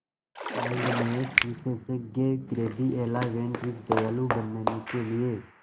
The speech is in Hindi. काइंडनेस विशेषज्ञ गैब्रिएला वैन रिज दयालु बनने के लिए